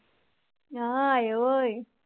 ਹਾਏ ਓਏ